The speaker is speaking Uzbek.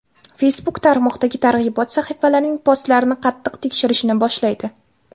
Facebook tarmoqdagi targ‘ibot sahifalarining postlarini qattiq tekshirishni boshlaydi.